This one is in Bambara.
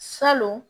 Salon